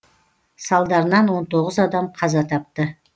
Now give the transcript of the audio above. салдарынан он тоғыз адам қаза тапты